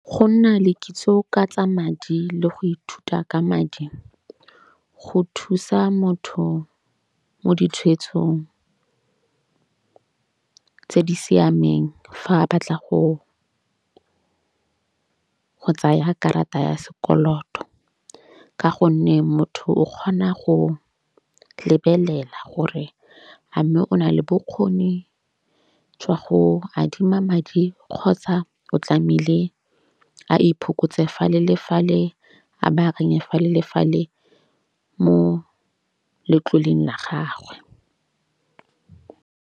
Go nna le kitso ka tsa madi le go ithuta ka madi go thusa motho mo ditshweetsong tse di siameng fa a batla go go tsaya karata ya sekoloto. Ka gonne motho o kgona go lebelela gore a mme o na le bokgoni jwa go adima madi kgotsa o tlamehile a iphokotse fale le fale a ba a reng fale le fale mo letloleng la gagwe.